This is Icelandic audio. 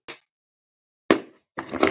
Færir skeiðin graut að munni.